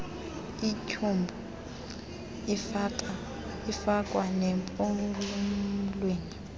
ityhubhu ifakwa nempumlweni